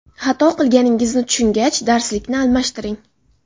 Xato qilganingizni tushungach, darslikni almashtiring.